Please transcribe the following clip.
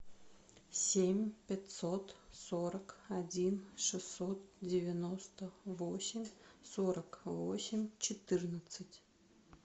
семь пятьсот сорок один шестьсот девяносто восемь сорок восемь четырнадцать